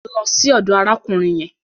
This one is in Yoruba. Lọ sí ọdọ̀ arákùnrin yẹn.